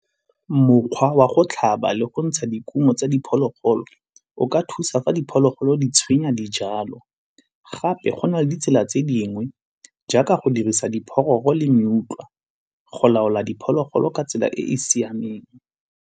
Mokgwa wa go tlhaba le go ntsha dikumo tsa diphologolo o ka thusa fa diphologolo di tshwenya dijalo. Gape go na le ditsela tse dingwe jaaka go dirisa diphologolo le mmutlwa go laola diphologolo ka tsela e e siameng.